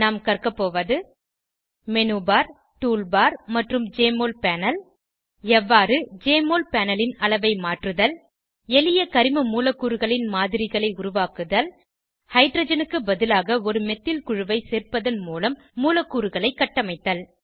நாம் கற்கவோவது menu bar tool bar மற்றும் ஜெஎம்ஒஎல் பேனல் எவ்வாறு ஜெஎம்ஒஎல் panelன் அளவை மாற்றுதல் எளிய கரிம மூலக்கூறுகளின் மாதிரிகளை உருவாக்குதல் ஹைட்ரஜனுக்கு பதிலாக ஒரு மெத்தில் குழுவை சேர்ப்பதன் மூலம் மூலக்கூறுகளை கட்டமைத்தல்